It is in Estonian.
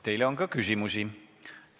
Teile on ka küsimusi.